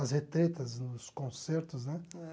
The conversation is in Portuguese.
As retretas nos concertos, né? É